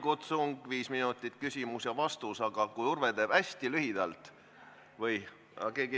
Küsib Signe Kivi, vastab kultuuriminister Tõnis Lukas.